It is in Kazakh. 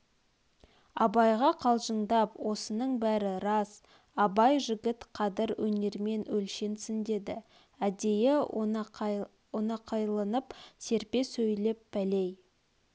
абайға қалжыңдап осының бәрі рас абай жігіт қадір өнермен өлшенсін деді әдейі ойнақыланып серпе сөйлеп пәлей